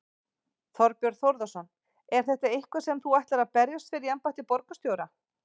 Þorbjörn Þórðarson: Er þetta eitthvað sem þú ætlar að berjast fyrir í embætti borgarstjóra?